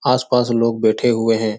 आस-पास लोग बैठे हुए हैं।